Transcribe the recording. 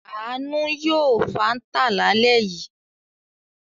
Àánú yóò Fanta lálẹ́ yìí.